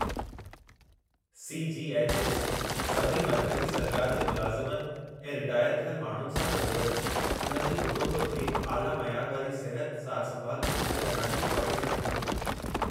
C. G. H. S. सभई मर्कज़ी सरकार जे मुलाज़मनि ऐं रिटायर थियल माण्हुनि सां गॾोगॾु, उन्हनि जे कुटुंब खे आला मयार वारी सिहत सार संभाल मुहैया कराइणु जी ख़्वाहशि रखे थो।